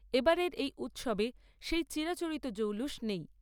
এবারের এই উৎসবে সেই চিরাচরিত জৌলুস নেই।